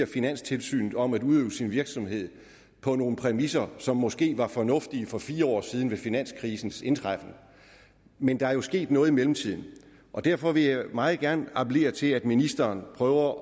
finanstilsynet om at udøve sin virksomhed på nogle præmisser som måske var fornuftige for fire år siden ved finanskrisens indtræffen men der er jo sket noget i mellemtiden og derfor vil jeg meget gerne appellere til at ministeren prøver